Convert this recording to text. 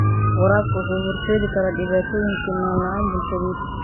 Waraabku wuxuu u horseedi karaa dhibaatooyin sinnaan la'aan bulsheed.